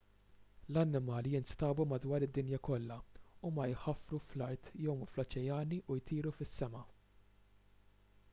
l-annimali jinstabu madwar id-dinja kollha huma jħaffru fl-art jgħumu fl-oċeani u jtiru fis-sema